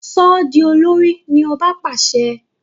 So di olórí! ní ọba pàṣẹ.